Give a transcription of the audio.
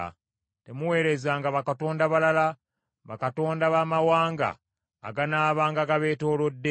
Temuweerezanga bakatonda balala, bakatonda b’amawanga aganaabanga gabeetoolodde;